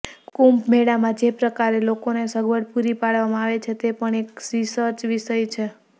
કુંભમેળામાં જે પ્રકારે લોકોને સગવડો પૂરી પાડવામાં આવે છે તે પણ એક રિસર્ચ વિષય છે